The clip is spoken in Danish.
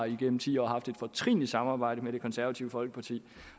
igennem ti år har haft et fortrinligt samarbejde med det konservative folkeparti